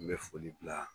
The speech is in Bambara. N bɛ foli bila